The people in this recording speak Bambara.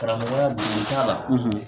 Karamɔgɔya dogoli t'a la.